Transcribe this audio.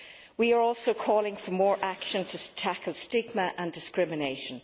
We are also calling for more action to tackle stigma and discrimination.